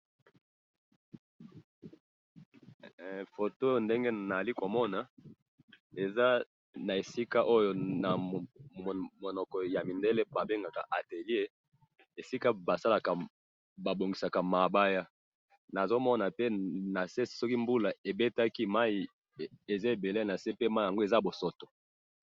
he foto oyo ndenge nazali komona eza na esika namunoko ya mindele ba benga atelier naso mona pe nase soki mayi ya mbule ebeti mayi yango ezali na bosoto